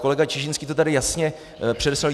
Kolega Čižinský to tady jasně přednesl.